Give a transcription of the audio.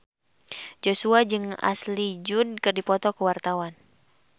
Joshua jeung Ashley Judd keur dipoto ku wartawan